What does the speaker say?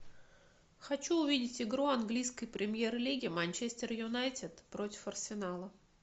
хочу увидеть игру английской премьер лиги манчестер юнайтед против арсенала